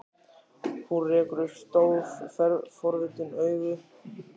Hún rekur upp stór, forvitin augu.